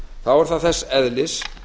þá er það þess eðlis